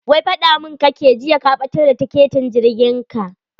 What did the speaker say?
Wai faɗa mun kake jiya ka ɓatar da tiketin jirgin ka.